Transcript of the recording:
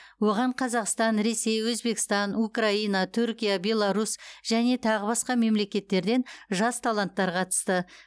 оған қазақстан ресей өзбекстан украина түркия беларусь және тағы басқа мемлекеттерден жас таланттар қатысты